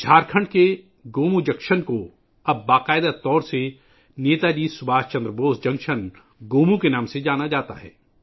جھارکھنڈ میں گومو جنکشن کو اب سرکاری طور پر نیتا جی سبھاش چندر بوس جنکشن گومو کے نام سے جانا جاتا ہے